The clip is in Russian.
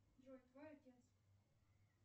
джой твой отец